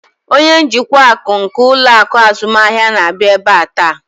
Onye njikwa akụ nke ụlọ akụ azụmahịa na-abịa ebe a taa.